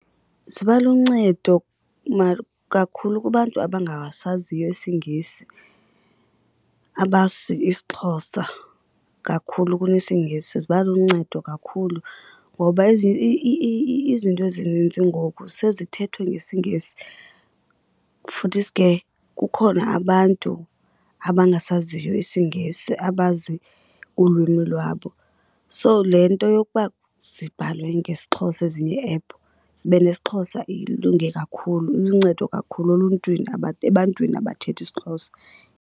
Ziba luncedo kakhulu kubantu abangasaziyo isiNgesi, abazi isiXhosa kakhulu kunesiNgesi ziba luncedo kakhulu. Ngoba izinto ezininzi ngoku sezithethwa ngesiNgesi futhisi ke kukhona abantu abangasaziyo isiNgesi abazi ulwimi lwabo. So le nto yokuba zibhalwe ngesiXhosa ezinye iiephu, zibe nesiXhosa, ilunge kakhulu iluncedo kakhulu eluntwini ebantwini abathetha isiXhosa.